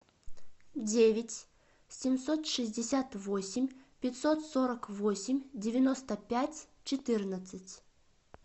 девять семьсот шестьдесят восемь пятьсот сорок восемь девяносто пять четырнадцать